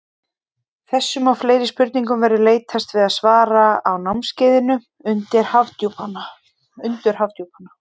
Þessum og fleiri spurningum verður leitast við að svara á námskeiðinu Undur Hafdjúpanna.